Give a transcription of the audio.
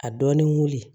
A dɔɔnin wuli